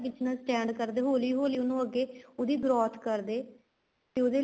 Business stand ਕਰਦੇ ਹੋਲੀ ਹੋਲੀ ਉਹਨੂੰ ਅੱਗੇ ਉਹਦੀ growth ਕਰਦੇ ਤੇ ਉਹਦੇ